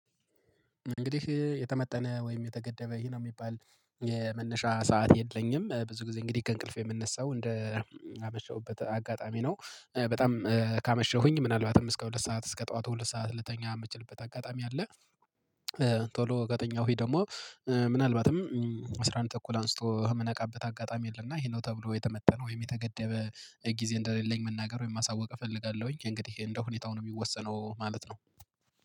እንግዲህ የተመጠነ ወይም የተገደበ ይሄ ነው የሚባል የመነሻ ሰዓት የለኝም። ብዙ ጊዜ እንግዲህ ከእንቅልፍ የምነሳው እንደ አመሸሁበት አጋጣሚ ነው። በጣም ካመሸሁኝ ምናልባትም እስከ ሁለት ሰዓት፣ እስከ ጠዋት ሁለት ሰዓት ልተኛ የምችልበት አጋጣሚ አለ። ቶሎ ከተኛሁኝ ደግሞ ምናልባትም አስራ አንድ ተኩል አንስቶ በምነቃበት አጋጣሚ አለ እና ይሄ ነው ተብሎ የተመጠነ ወይም የተገደበ ጊዜ እንደሌለኝ መናገር ወይም ማሳወቅ እፈልጋለሁኝ። የእንግዲህ እንደው ሁኔታው ነው የሚወሰነው ማለት ነው።